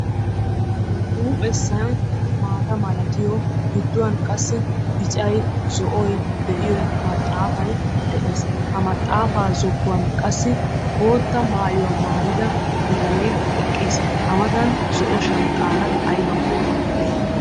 huuphessay maaata malattiyo giddoy qassi biccay de'iyo maxaafay de'ees. ha maxaafaa zokkuwan qassi bootta maayuwa maayida bitanee eqqiis. a matan zo'o shanxxaara aybakko uttiis.